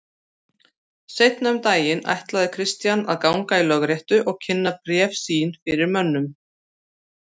Seinna um daginn ætlaði Christian að ganga í lögréttu og kynna bréf sín fyrir mönnum.